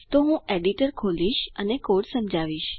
તો હું એડિટર ખોલીશ અને કોડ સમજાવીશ